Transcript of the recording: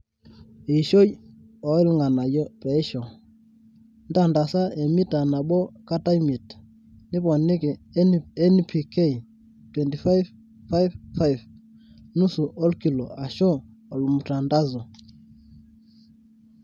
eishoi o ilganayio peishoo, ntantasa emita nabo kat imiet, niponiki NPK 25:5:5,nusu olkilo ashu/olmutandazo